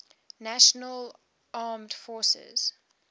national armed forces